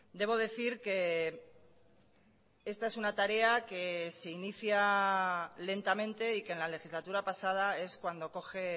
debo decir que esta es una tarea que se inicia lentamente y que en la legislatura pasada es cuando coge